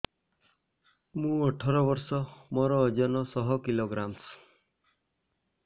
ମୁଁ ଅଠର ବର୍ଷ ମୋର ଓଜନ ଶହ କିଲୋଗ୍ରାମସ